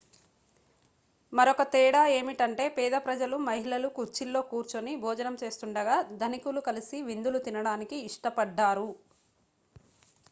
మరొక తేడా ఏమిటంటే పేద ప్రజలు మహిళలు కుర్చీల్లో కూర్చొని భోజనం చేస్తుండగా ధనికులు కలిసి విందులు తినడానికి ఇష్టపడ్డారు